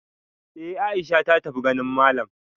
Eh Aisha ta tafi ganin malam